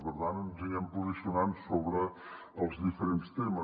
per tant ens anirem posicionant sobre els diferents temes